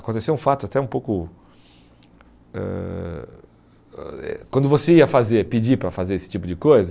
Aconteceu um fato até um pouco... Ãh ãh eh quando você ia fazer pedir para fazer esse tipo de coisa...